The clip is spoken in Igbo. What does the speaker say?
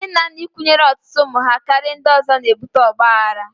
Nne na nna ịkwụnyere ọtụtụ ụmụ ha karịa ndị ọzọ na-ebute ọgbaghara.